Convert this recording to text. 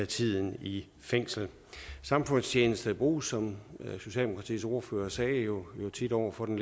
tiden i fængsel samfundstjeneste bruges som socialdemokratiets ordfører sagde jo over for den